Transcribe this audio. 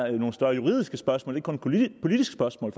er nogle større juridiske spørgsmål og ikke kun politiske spørgsmål